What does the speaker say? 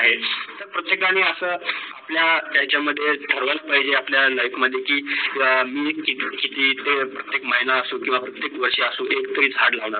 आहेत. प्रत्येकानी आपलं अस याचा मध्ये ठरवायला पाहिजे आपल्या life मध्ये की मी किती ते किती महिना किव्वा प्रत्येक वर्षा पासून एक तरी झाड लावेल